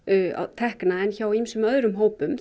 tekna en hjá ýmsum öðrum hópum